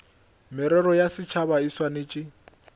merero ya setšhaba e swanetše